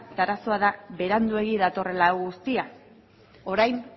eta arazoa da beranduegi datorrela hau guztia orain